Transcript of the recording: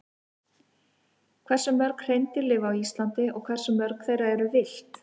Hversu mörg hreindýr lifa á Íslandi og hversu mörg þeirra eru villt?